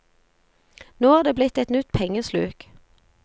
Nå er det blitt et nytt pengesluk.